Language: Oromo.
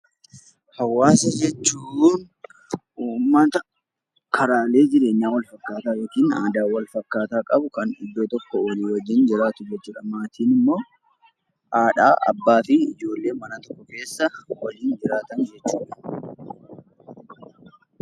Hawaasa jechuun uummata karaalee jireenyaa wal fakkaataa yookiin aadaa wal fakkaataa qabu kan walii wajjin jiraatu jechuudha. Maatiin immoo haadha, abbaa fi ijoollee mana tokko keessa waliin jiraatan jechuudha